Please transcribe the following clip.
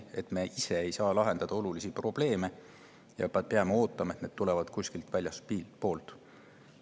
Miks me ei olulisi probleeme ise lahendada ja ootama, et tulevad kuskilt väljastpoolt?